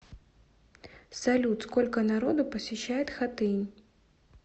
салют сколько народу посещает хатынь